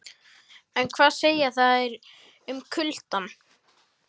En hvað segja þær um kuldann?